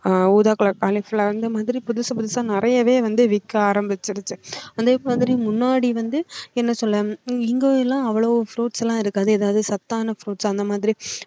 அஹ் ஊதா colour cauliflower அந்தமாதிரி புதுசு புதுசா நிறையவே வந்து விக்க ஆரம்பிச்சிடுச்சு அதே மாதிரி முன்னாடி வந்து என்ன சொல்லணும் இங்க எல்லாம் அவ்வளவு fruits எல்லாம் இருக்காது ஏதாவது சத்தான fruits அந்த மாதிரி